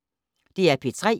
DR P3